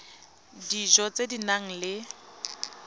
dijo tse di nang le